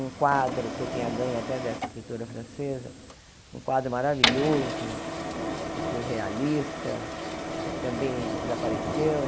Um quadro que eu tinha ganho até dessa escritura francesa, um quadro maravilhoso, surrealista, também desapareceu.